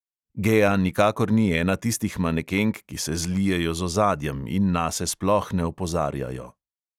Gea nikakor ni ena tistih manekenk, ki se zlijejo z ozadjem in nase sploh ne opozarjajo.